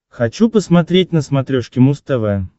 хочу посмотреть на смотрешке муз тв